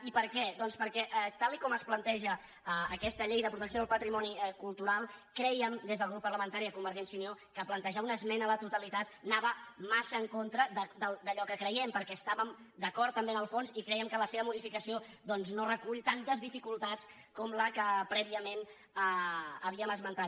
i per què doncs perquè tal com es planteja aquesta llei de protecció del patrimoni cultural crèiem des del grup parlamentari de convergència i unió que plantejar una esmena a la totalitat anava massa en contra d’allò que creiem perquè estàvem d’acord també en el fons i crèiem que la seva modificació no recull tantes dificultats com la que prèviament havíem esmentat